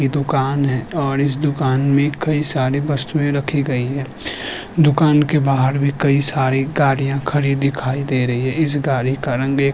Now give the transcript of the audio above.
ये दुकान है और इस दुकान में कई सारी वस्तुएं रखी गई हैं दुकान के बाहार भी कई सारी गाड़ियाँ खड़ी दिखाई दे रही हैं इस गाड़ी का रंग ऐ --